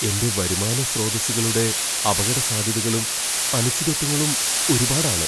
എന്റെ വരുമാന സ്രോതസ്സുകളുടെ അപകടസാധ്യതകളും, അനിശ്ചിതത്വങ്ങളും ഒരുപാടാണ്.